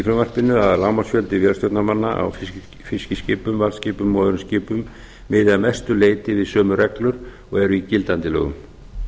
frumvarpinu að lágmarksréttindi vélstjórnarmanna á fiskiskipum varðskipum og öðrum skipum miði að mestu leyti við sömu reglu og er í gildandi lögum